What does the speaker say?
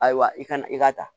Ayiwa i kana i ka ta